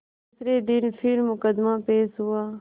दूसरे दिन फिर मुकदमा पेश हुआ